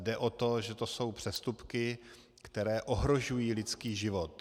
Jde o to, že to jsou přestupky, které ohrožují lidský život.